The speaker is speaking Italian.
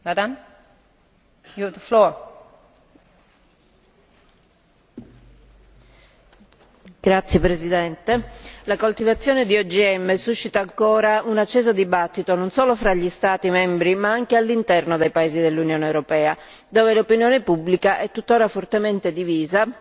Signora Presidente, onorevoli colleghi, la coltivazione di OGM suscita ancora un acceso dibattito, non solo tra gli Stati membri, ma anche all'interno dei paesi dell'Unione europea, dove l'opinione pubblica è tuttora fortemente divisa,